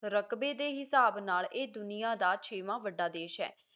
ਰਕਬੇ ਦੇ ਹਿਸਾਬ ਨਾਲ ਇਹ ਦੁਨੀਆਂ ਦਾ ਛੇਵਾਂ ਵੱਡਾ ਦੇਸ਼ ਹੈ